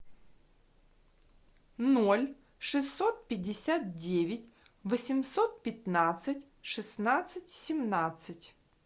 ноль шестьсот пятьдесят девять восемьсот пятнадцать шестнадцать семнадцать